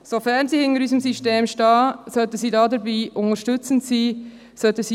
Sofern sie hinter unserem System steht, sollte sie dabei unterstützend sein.